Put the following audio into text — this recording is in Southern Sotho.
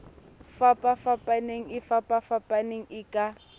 fapafapanang e fapafapanang e ka